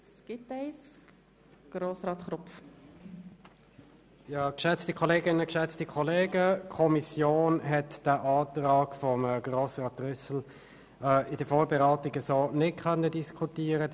der BaK. Die Kommission konnte den Antrag von Grossrat Trüssel in der Vorbereitung nicht diskutieren.